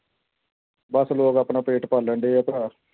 ਬਸ ਲੋਕ ਆਪਣਾ ਪੇਟ ਪਾਲਣਡੇ ਆ ਭਰਾ।